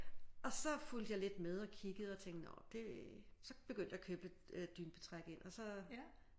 Og så fulgte jeg lidt med og kiggede og tænkte nå det så begyndte jeg at købe dynebetræk ind og så